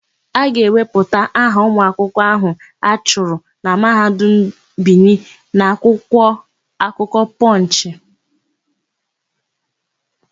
A ga-ewepụta aha ụmụakwụkwọ áhụ̀ a chụrụ na Mahadum Bini n'akwụkwọ akụkọ Pọnchị.